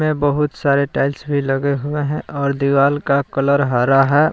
बहुत सारे टाइल्स भी लगे हुवे हैं और दीवार का कलर हरा है।